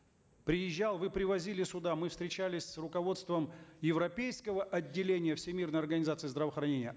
приезжал вы привозили сюда мы встречались с руководством европейского отделения всемирной организации здравоохранения